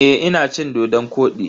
Eh, ina cin dodon-kwodi.